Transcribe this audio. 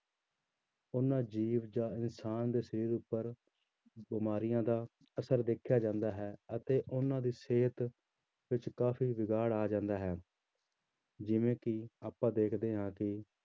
ਉਹਨਾਂ ਜੀਵ ਜਾਂ ਇਨਸਾਨ ਦੇ ਸਰੀਰ ਉੱਪਰ ਬਿਮਾਰੀਆਂ ਦਾ ਅਸਰ ਦੇਖਿਆ ਜਾਂਦਾ ਹੈ ਅਤੇ ਉਹਨਾਂ ਦੀ ਸਿਹਤ ਵਿੱਚ ਕਾਫ਼ੀ ਵਿਗਾੜ ਆ ਜਾਂਦਾ ਹੈ ਜਿਵੇਂ ਕਿ ਆਪਾਂ ਦੇਖਦੇ ਹਾਂ ਕਿ